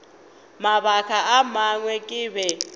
mabaka a mangwe ke be